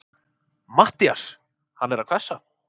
MATTHÍAS: Hann er að hvessa?